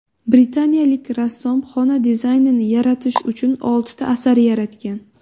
Britaniyalik rassom xona dizaynini yaratish uchun oltita asar yaratgan.